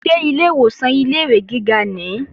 Ṣé ilé ìwòsàn ilé-ìwé gíga nìí?